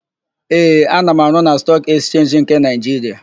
Ee, ana m arụ na Stọọk Ekchenji nke Naịjiria.